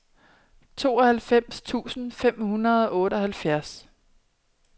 tooghalvfems tusind fem hundrede og otteoghalvfjerds